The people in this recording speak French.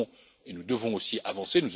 Nous pouvons et nous devons aussi avancer.